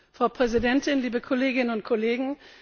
Frau Präsidentin, liebe Kolleginnen und Kollegen!